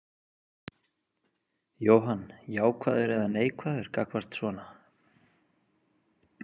Jóhann: Jákvæður eða neikvæður gagnvart svona?